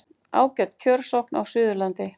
Ágæt kjörsókn á Suðurlandi